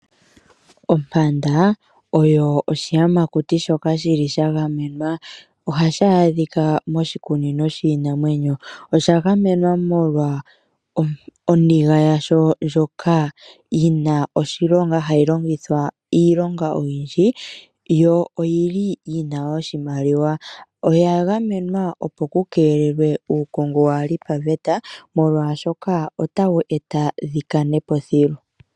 Ompanda oyo oshiyamakuti shoka shagamenwa. Ohayi adhika moshikunino shiinamwenyo. Oyagamenwa molwa oniga yasho ndjoka yina oshilonga hayi longithwa iilonga oyindji yo oyina oshimaliwa. Oyagamenwa opo ku keelelwe uukongo waali paveta molwashoka otadhi vulu dhikane po thilu thilu.